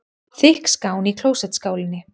Þykk skán í klósettskálinni.